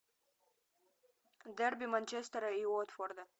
дерби манчестера и уотфорда